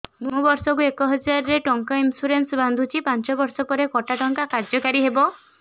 ମୁ ବର୍ଷ କୁ ଏକ ହଜାରେ ଟଙ୍କା ଇନ୍ସୁରେନ୍ସ ବାନ୍ଧୁଛି ପାଞ୍ଚ ବର୍ଷ ପରେ କଟା ଟଙ୍କା କାର୍ଯ୍ୟ କାରି ହେବ